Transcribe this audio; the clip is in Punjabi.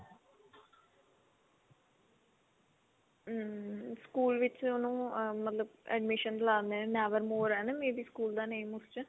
am ਸਕੂਲ ਵਿੱਚ ਉਹਨੂੰ ਮਤਲਬ admission ਲਾ ਦਿਨੇ ਨੇ never more ਆ may be ਸਕੂਲ ਦਾ ਨਾਮ ਉਸ ਚ